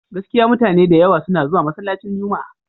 Gaskiya mutane da yawa suna zuwa masallacin Juma'a.